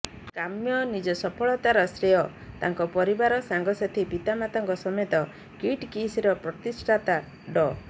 କାମ୍ୟ ନିଜ ସଫଳତାର ଶ୍ରେୟ ତାଙ୍କ ପରିବାର ସାଙ୍ଗସାଥି ପିତାମାତାଙ୍କ ସମେତ କିଟ କିସର ପ୍ରତିଷ୍ଠାତା ଡ